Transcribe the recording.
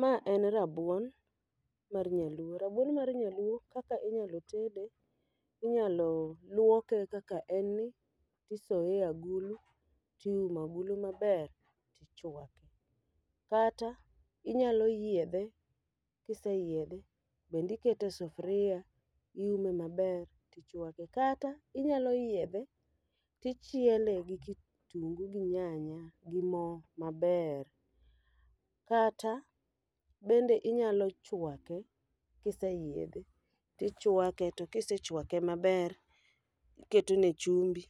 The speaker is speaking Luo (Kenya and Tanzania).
Ma en rabuon mar nyaluo, rabuon mar nyaluo kaka inyalo tede inyalo luoke kaka en ni tisoye e agulu tiumo agulu maber, tichwake. Kata inyalo yiedhe, kise yiedhe bende ikete e sufria iume maber tichwake. Kata inyalo yiedhe, tichiele gi kitungu gi nyanya gi mo maber. Kata bende inyalo chwake kiseyiedhe, tichwake to kisechwake maber, iketo ne chumbi.